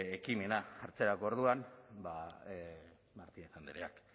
ekimena hartzerako orduan ba martinez andreak